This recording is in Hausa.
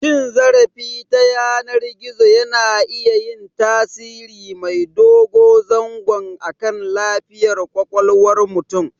Cin zarafi ta yanar gizo yana iya yin tasiri mai dogo zango akan lafiyar ƙwaƙwalwar mutum.